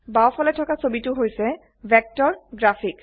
বাও ফালে থকা ছবিটি হৈছে ভেক্টৰ গ্ৰাফিক্চ